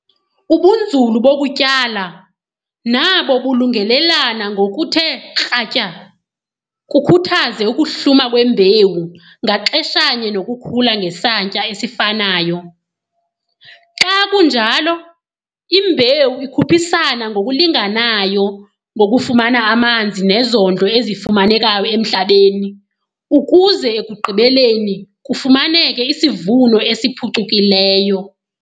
Ubunzulu bokutyala nabo bulungelelana ngokuthe kratya kukhuthaze ukuhluma kwembewu ngaxeshanye nokukhula ngesantya esifanayo. Xa kunjalo imbewu ikhuphisana ngokulinganayo ngokufumana amanzi nezondlo ezifumanekayo emhlabeni ukuze ekugqibeleni kufumaneke isivuno esiphucukileyo.